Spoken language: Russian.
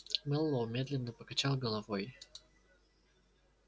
мэллоу медленно покачал головой